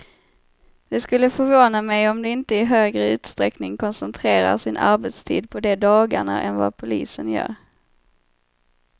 Det skulle förvåna mig om de inte i högre utsträckning koncentrerar sin arbetstid på de dagarna än vad polisen gör.